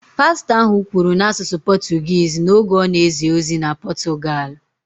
Pastọ ahụ kwuru n’asụsụ Pọtụgụisi n’oge ọ na-ezi ozi na Pọtụgalụ